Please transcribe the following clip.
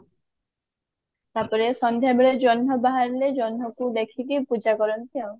ତାପରେ ସନ୍ଧ୍ଯା ବେଳେ ଜହ୍ନ ବାହାରିଲେ ଜହ୍ନ କୁ ଦେଖିକି ପୂଜା କରନ୍ତି ଆଉ